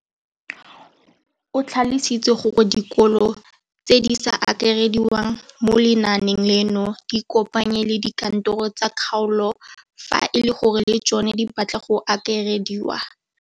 O tlhalositse gore dikolo tse di sa akarediwang mo lenaaneng leno di ikopanye le dikantoro tsa kgaolo fa e le gore le tsona di batla go akarediwa.